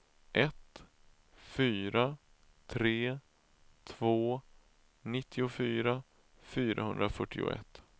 ett fyra tre två nittiofyra fyrahundrafyrtioett